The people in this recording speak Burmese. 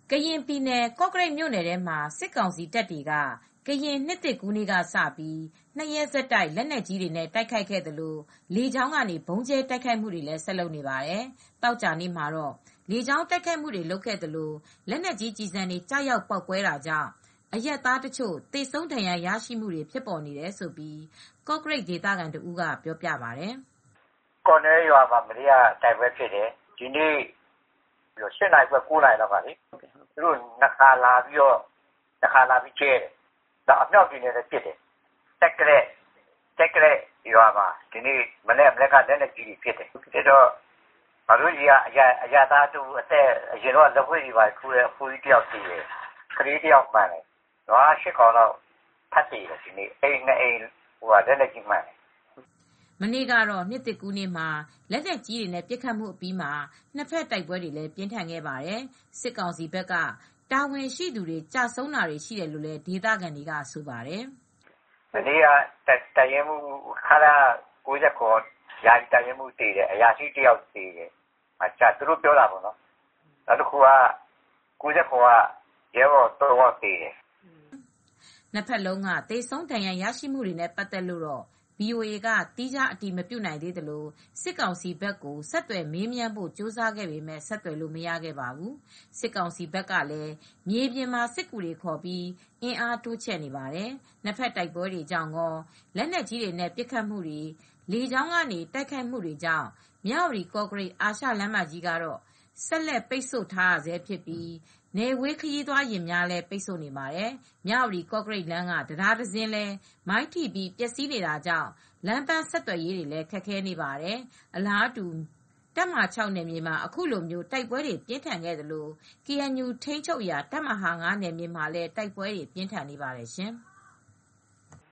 ကရင်ပြည်နယ် ကော့ကရိတ်မြို့နယ်ထဲမှာ စစ်ကောင်စီတပ်တွေက ကရင်နှစ်သစ်ကူးနေ့ကစပြီး ၂ ရက် ဆက်တိုက် လက်နက်ကြီးတွေနဲ့တိုက်ခိုက်ခဲ့သလို လေကြောင်းကနေလည်း ဆက်တိုက် ဗုံးကြဲတိုက်ခိုက်နေပါတယ်။ ဒီနေ့ သောကြာနေ့မှာလည်း လေကြောင်းကတိုက်ခိုက်တာတွေရှိပြီး လက်နက်ကြီးကျည်ဆံတွေကျရောက်ပေါက်ကွဲတာကြောင့် အရပ်သားတချို့ သေဆုံးဒဏ်ရာရခဲ့တာတွေရှိကြောင်း ကော့ကရိတ်ဒေသခံတဦးကပြောပြပါတယ်။ “ ကော့နွဲ့ရွာမှာ မနေ့က တိုက်ပွဲဖြစ်တယ်။ ဒီနေ့ကျတော့ ၈ နာရီခွဲ ၉ နာရီလောက်က သူတို့လေကြောင်းကနေ နှစ်ခါလာပြီး တခါကတော့ ဗုံးကြဲသွားတယ်။ အမြောက်တွေနဲ့လည်း လာပစ်တယ်။ ကျိုက်သလဲ့ရွာမှာ ဒီနေ့မနက်က လက်နက်ကြီးနဲ့ပစ်တော့ ငါတို့ဆီက အသက်ကြီးကြီး အရပ်သား လက်ဝှေ့ထိုးတဲ့အဖိုးကြီးတယောက်သေတယ်။ ကလေးတယောက်လည်းမှန်သွားတယ်။ နွား ၈ ကောင် ဒီနေ့ ထပ်သေတယ်။ အိမ်နှစ်အိမ် လက်နက်ကြီးမှန်တယ်။” မနေ့က ကရင်နှစ်သစ်ကူးနေ့မှာ လက်နက်ကြီးတွေနဲ့ပစ်ခတ်ခဲ့ပြီး နှစ်ဘက်တိုက်ပွဲတွေပြင်းထန်ခဲ့ပါတယ်။ စစ်ကောင်စီဘက်က တာဝန်ရှိသူတွေ ကျဆုံးတာရှိတယ်လို့ ဒေသခံတွေကတော့ဆိုပါတယ်။ “မနေ့ကတော့ ခလရ ၉၇ အရာရှိ ယာယီတပ်ရင်းမှူးသေတယ်။ အရာရှိတယောက်သေတယ်။ ခလရ ၉၇ က ရဲဘော် ၃ ယောက်သေတယ်။ သူတို့ပြောတာပေါ့နော်။” နှစ်ဘက်လုံးက သေဆုံးဒဏ်ရာရကြတဲ့အရေအတွက်တွေနဲ့ပတ်သက်လို့တော့ VOA က သီးခြား အတည်မပြုနိုင်သေးသလို စစ်ကောင်စီဘက်ကို ဆက်သွယ်မေးမြန်းဖို့ကြိုးစားခဲ့ပေမဲ့ ဆက်သွယ်လို့မရခဲ့ပါဘူး။ စစ်ကောင်စီဘက်ကလည်း မြေပြင်မှာစစ်ကူတွေခေါ်ပြီး အင်အားတိုးချဲ့နေပါတယ်။ နှစ်ဘက်တိုက်ပွဲတွေကြောင့်ကော လက်နက်ကြီးတွေနဲ့ပစ်ခတ်တာ၊ လေကြောင်းကနေ တိုက်ခိုက်နေတာတွေကြောင့် မြဝတီ-ကော့ကရိတ် အာရှလမ်းမကြီးကို ဆက်လက်ပိတ်ဆို့နေဆဲဖြစ်ပြီး နယ်ဝေး ခရီးသွားယာဉ်တွေကိုလည်း ပိတ်ထားပါတယ်။ မြဝတီ ကော့ကရိတ်လမ်းက တံတားတစင်းလည်း မိုင်းထိပြီး ပျက်စီးနေတာကြောင့် လမ်းပမ်းဆက်သွယ်ရေးလည်း ခက်ခဲနေပါတယ်။ အလားတူ တပ်မဟာ (၆) နယ်မြေမှာ အခုလိုတိုက်ပွဲတွေပြင်းထန်နေသလို ကေအန်ယူထိန်းချုပ်ရာတပ်မဟာ (၅) နယ်မြေ မှာလည်း တိုက်ပွဲတွေ ပြင်းထန်နေပါတယ်ရှင်။